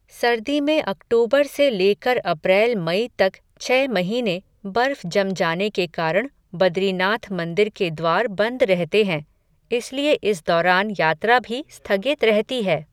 सर्दी में अक्टूबर से लेकर अप्रैल मई तक छह महीने बर्फ़ जम जाने के कारण बद्रीनाथ मंदिर के द्वार बंद रहते हैं, इसलिए इस दौरान यात्रा भी स्थगित रहती है.